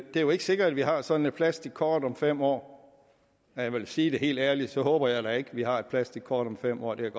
det er jo ikke sikkert at vi har sådan et plastikkort om fem år og jeg vil sige at helt ærligt så håber jeg da ikke at vi har et plastikkort om fem år det